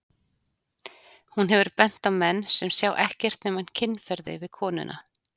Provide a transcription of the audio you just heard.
Hún hefur bent á menn sem sjá ekkert nema kynferði við konuna.